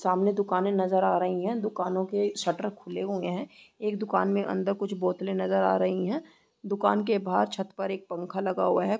सामने दुकानें नजर आ रहीं हैं दुकानों के शटर खुले हुए हैं एक दुकान में अंदर कुछ बोतलें नजर आ रही हैं दुकान के बहार छत पर एक पंखा लगा हुआ है।